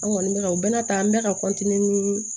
An kɔni bɛ ka u bɛna taa an bɛ ka ni